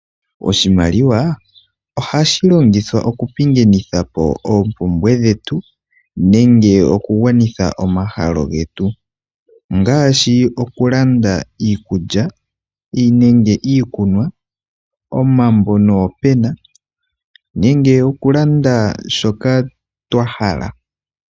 Oshimaliwa ohashi longithwa okupingathanapo oompumbwe dhetu nenge okugwanitha omahala getu ngaashi okulanda iikulya, okunwa, omambo noopena nenge okulanda shoka twahala.